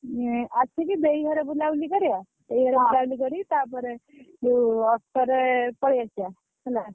ଏଁ ଆସିକି ଦେଇ ଘରେ ବୁଲାବୁଲି କରିବ ଦେଇ ଘରେ ବୁଲାବୁଲି କରିକି ତାପରେ ଯୋଉ auto ରେ ପଳେଇ ଆସିବା।